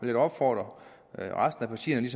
da opfordre resten af partierne